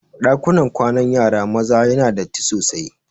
Ɗakunan kwanan yara maza yana da datti sosai.